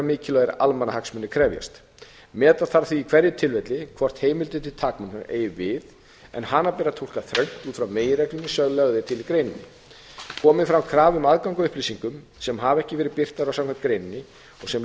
mikilvægir almannahagsmunir krefjast meta þarf því í hverju tilfelli hvort heimildin til takmörkunar eigi við en hana ber að túlka þröngt út frá meginreglunni sem lögð er til í greininni komi fram krafa um aðgang að upplýsingum sem hafa ekki verið birtar samkvæmt greininni og sem